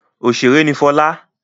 Òṣèrè ni Fọlá.